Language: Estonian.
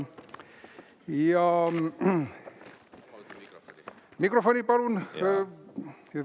Ja mikrofon, palun!